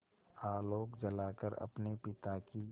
आलोक जलाकर अपने पिता की